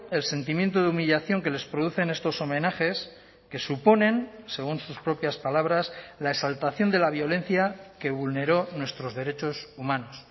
el sentimiento de humillación que les producen estos homenajes que suponen según sus propias palabras la exaltación de la violencia que vulneró nuestros derechos humanos